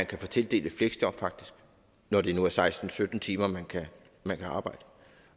kan få tildelt et fleksjob når det nu er seksten til sytten timer man kan man kan arbejde